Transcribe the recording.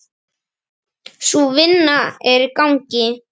Sú vinna er í gangi.